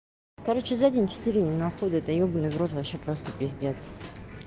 короче за день четыре он находит да ёбанный в рот вообще просто пиздец